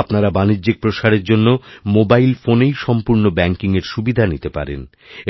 আপনারা বাণিজ্যিক প্রসারের জন্যমোবাইল ফোনেই সম্পূর্ণ ব্যাঙ্কিংএর সুবিধা নিতে পারেন